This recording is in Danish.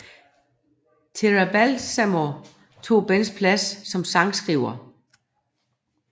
Terry Balsamo tog Bens plads som sangskriver